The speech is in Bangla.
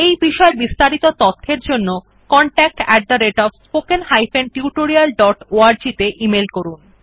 এই বিষয় বিস্তারিত তথ্যের জন্য contactspoken tutorialorg তে ইমেল করুন